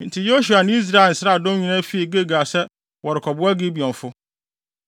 Enti Yosua ne Israel nsraadɔm nyinaa fii Gilgal sɛ wɔrekɔboa Gibeonfo.